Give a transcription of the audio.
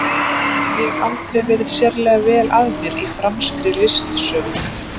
Ég hef aldrei verið sérlega vel að mér í franskri listasögu.